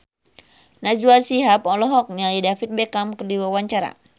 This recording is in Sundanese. Najwa Shihab olohok ningali David Beckham keur diwawancara